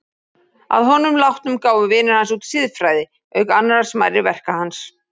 Að honum látnum gáfu vinir hans út Siðfræði, auk annarra smærri verka hans.